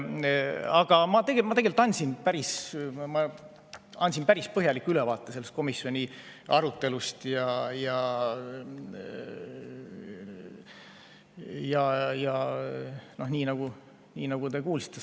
Aga ma andsin päris põhjaliku ülevaate komisjoni arutelust, nagu te kuulsite.